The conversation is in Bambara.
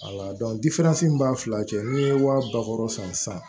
min b'an fila cɛ ni ye wa ba wɔɔrɔ san